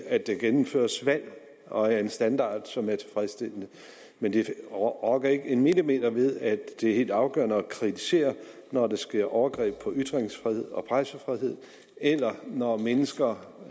at der gennemføres valg og er af en standard som er tilfredsstillende men det rokker ikke en millimeter ved at det er helt afgørende at kritisere når der sker overgreb på ytringsfrihed og pressefrihed eller når mennesker